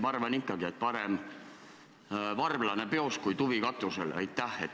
Ma arvan ikkagi, et parem varblane peos kui tuvi katusel.